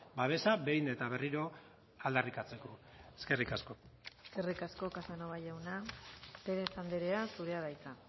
babesa behin eta berriro aldarrikatzeko eskerrik asko eskerrik asko casanova jauna pérez andrea zurea da hitza